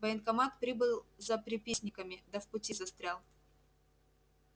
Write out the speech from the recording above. в военкомат прибыл за приписниками да в пути застрял